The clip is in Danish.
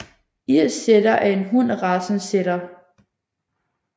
Irsk setter er en hund af racen setter